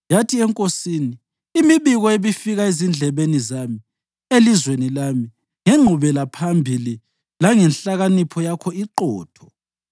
Yathi enkosini, “Imibiko ebifika ezindlebeni zami elizweni lami ngengqubelaphambili langenhlakanipho yakho iqotho.